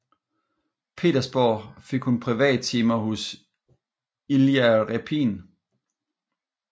Petersborg fik hun privattimer hos Ilja Repin